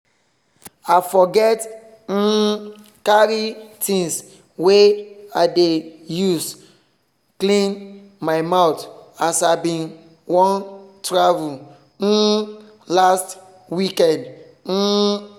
i forget um carrythings wey i dey use clean my mouth as i bin wan travel um last weekend um